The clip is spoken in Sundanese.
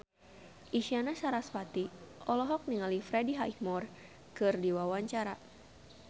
Isyana Sarasvati olohok ningali Freddie Highmore keur diwawancara